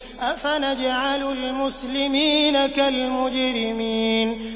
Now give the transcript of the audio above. أَفَنَجْعَلُ الْمُسْلِمِينَ كَالْمُجْرِمِينَ